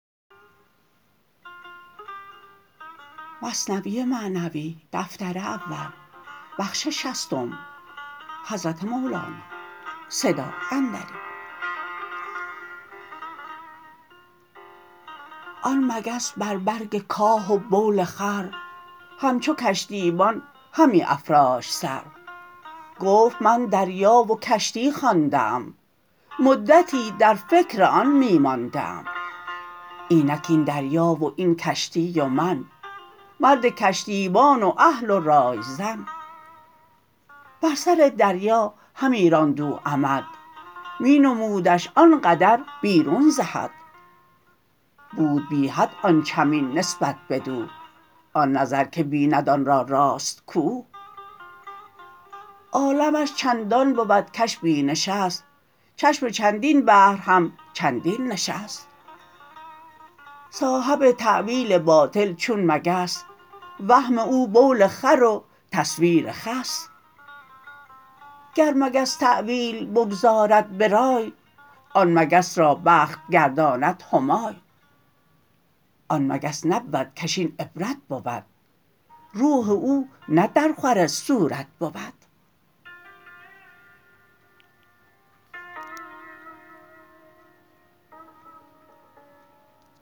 آن مگس بر برگ کاه و بول خر همچو کشتیبان همی افراشت سر گفت من دریا و کشتی خوانده ام مدتی در فکر آن می مانده ام اینک این دریا و این کشتی و من مرد کشتیبان و اهل و رای زن بر سر دریا همی راند او عمد می نمودش آن قدر بیرون ز حد بود بی حد آن چمین نسبت بدو آن نظر که بیند آن را راست کو عالمش چندان بود کش بینشست چشم چندین بحر همچندینشست صاحب تاویل باطل چون مگس وهم او بول خر و تصویر خس گر مگس تاویل بگذارد برای آن مگس را بخت گرداند همای آن مگس نبود کش این عبرت بود روح او نه در خور صورت بود